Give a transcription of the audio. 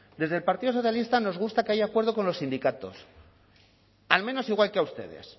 desde el partido socialista nos gusta que haya acuerdo con los sindicatos al menos igual que a ustedes